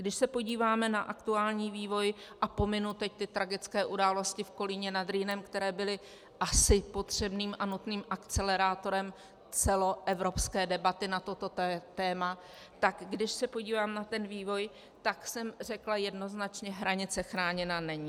Když se podíváme na aktuální vývoj, a pominu teď ty tragické události v Kolíně nad Rýnem, které byly asi potřebným a nutným akcelerátorem celoevropské debaty na toto téma, tak když se podívám na ten vývoj, tak jsem řekla jednoznačně - hranice chráněna není.